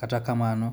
Kata kamano,